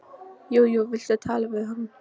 Jú jú, viltu tala við hann?